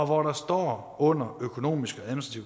hvor der står under økonomiske